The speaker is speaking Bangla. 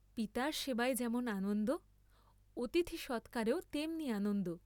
পিতার সেবায় যেমন আনন্দ অতিথি সৎকারেও তেমনি আনন্দ।